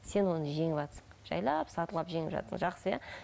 сен оны жеңіватсың жайлап сатылап жеңіп жатсың жақсы иә